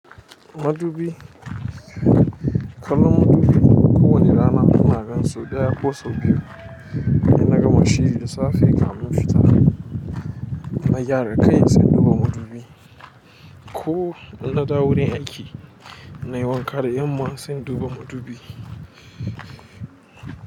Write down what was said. Madubi. Kaman madubi ko wani rana ina gani sau ɗaya ko sau biyu. In na gama shiri da safe kafin in fita na gyara kai sai in duba madubi. Ko in na dawo wurin aiki nayi wanka da yanma sai in duba madubi.